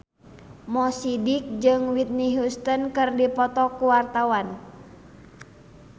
Mo Sidik jeung Whitney Houston keur dipoto ku wartawan